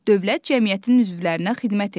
Dövlət cəmiyyətin üzvlərinə xidmət edir.